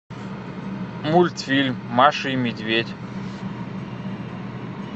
мультфильм маша и медведь